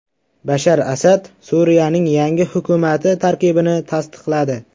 Bashar Asad Suriyaning yangi hukumati tarkibini tasdiqladi.